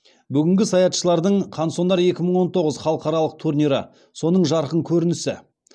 бүгінгі саятшылардың қансонар екі мың он тоғыз халықаралық турнирі соның жарқын көрінісі